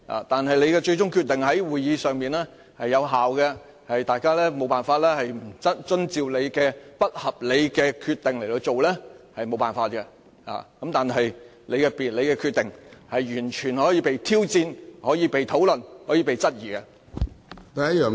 但你的最終決定在會議上是有效的，大家無法不遵照你的不合理決定，這也無可奈何。但是，你的決定完全可以被挑戰、被討論和被質疑的。